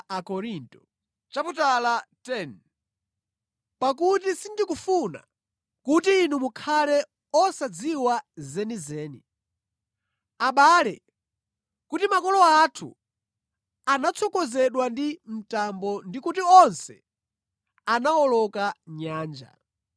Pakuti sindikufuna kuti inu mukhale osadziwa zenizeni, abale, kuti makolo athu anatsogozedwa ndi mtambo ndikuti onse anawoloka nyanja.